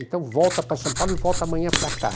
Então, volta para São Paulo e volta amanhã para cá.